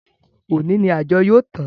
Òní ni àjọ yóò tán